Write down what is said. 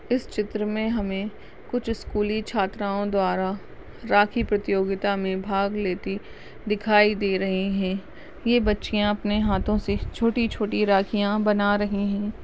इस चित्र में हमे कुछ स्कूली छात्राओं द्वारा राखी प्रतियोगिता में भाग लेती दिखाई दे रही हैं। ये बच्चियाँ अपने हाथो से छोटी-छोटी राखिया बना रही हैं।